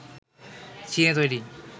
চীনে তৈরি